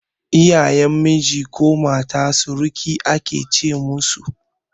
Iyayen miji ko mata sirikai ake ce musu